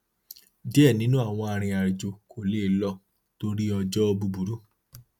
díẹ nínú àwọn arìnrìnàjò kò le lọ torí ojúọjọ búburú